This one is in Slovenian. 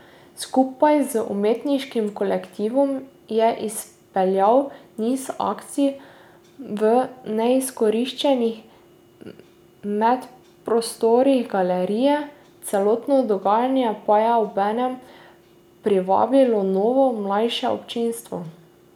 Skupaj z umetniškim kolektivom je izpeljal niz akcij v neizkoriščenih medprostorih galerije, celotno dogajanje pa je obenem privabilo novo, mlajše občinstvo.